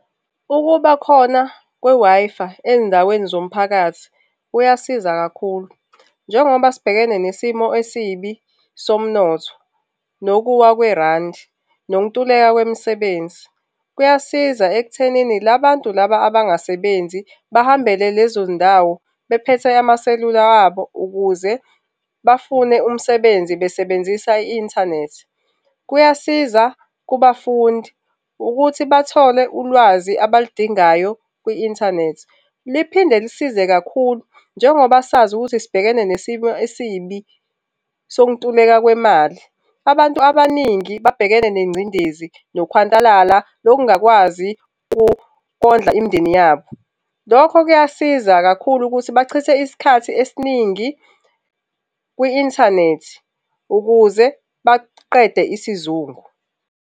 Ukuba khona kwe-Wi-Fi ezindaweni zomphakathi kuyasiza kakhulu, njengoba sibhekene nesimo esibi somnotho, nokuwa kwerandi, nokuntuleka kwemisebenzi. Kuyasiza ekuthenini labantu laba abangasebenzi bahambele lezo zindawo bephethe amaselula abo ukuze bafune umsebenzi besebenzisa i-inthanethi. Kuyasiza kubafundi ukuthi bathole ulwazi abalidingayo kwi-inthanethi liphinde lisize kakhulu njengoba sazi ukuthi sibhekene nesimo esibi sokuntuleka kwemali. Abantu abaningi babhekene nengcindezi, nokuhwantalala lokungakwazi ukondla imindeni yabo. Lokho kuyasiza kakhulu ukuthi bachithe isikhathi esiningi kwi-inthanethi ukuze baqede isizungu.